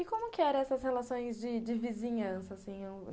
E como que eram essas relações de de vizinhança, assim?